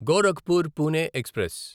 Gorakhpur Pune express